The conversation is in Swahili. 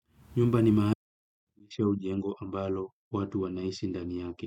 Nyumba ni mahali namaanisha au jengo ambalo watu wanaishi ndani yake.